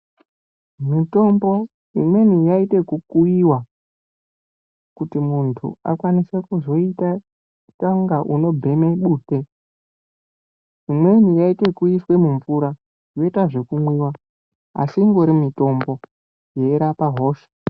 Mitombo imweni yaiite ekukuyiwa kuti muntu akwanise kuzoite kunge unobheme bute. Imweni yaiite ekuiswe mumvura yoita zvekumwiwa, asi ingori mitombo inorapa hosha.